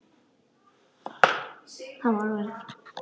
Það er æði langt síðan.